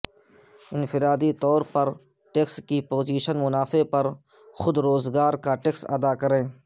انفرادی طور پر ٹیکس کی پوزیشن منافع پر خود روزگار کا ٹیکس ادا کریں